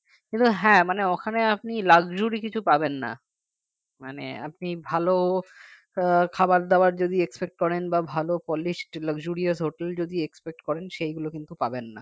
কিন্তু হ্যাঁ মানে ওখানে আপনি luxury কিছু পাবেন না মানে আপনি ভালো আহ খাবার দাবার৷ যদি expect করেন বা ভালো polish luxurious hotel যদি expect করেন সেগুলো কিন্তু পাবেন না